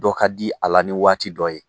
Dɔ ka di a la ni waati dɔ ye.